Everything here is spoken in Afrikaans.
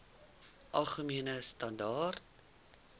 algemene standaar